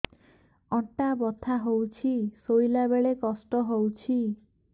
ଅଣ୍ଟା ବଥା ହଉଛି ଶୋଇଲା ବେଳେ କଷ୍ଟ ହଉଛି